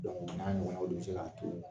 o n'a ɲɔgɔnnaw de be se k'a too